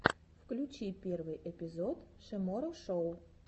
включи первый эпизод шиморо шоу